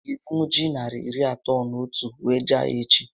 Ị ga ebunwu ji narị iri atọ na otu a wee jee ahịa echi?